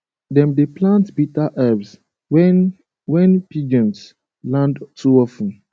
dem dey plant bitter herbs when when pigeons land too of ten